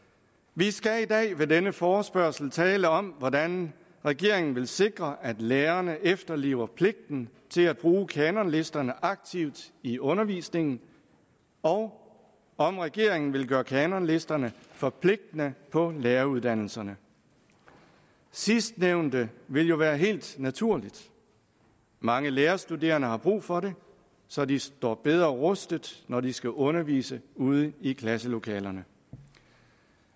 vi skal i dag ved denne forespørgsel tale om hvordan regeringen vil sikre at lærerne efterlever pligten til at bruge kanonlisterne aktivt i undervisningen og om regeringen vil gøre kanonlisterne forpligtende på læreruddannelserne sidstnævnte vil jo være helt naturligt mange lærerstuderende har brug for det så de står bedre rustet når de skal undervise ude i klasselokalerne